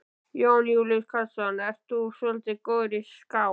Jón Júlíus Karlsson: Ert þú svolítið góður í skák?